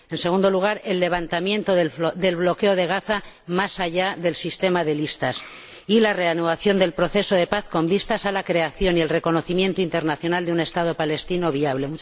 en segundo lugar, el levantamiento del bloqueo de Gaza más allá del sistema de listas y la reanudación del proceso de paz con vistas a la creación y el reconocimiento internacional de un Estado palestino viable.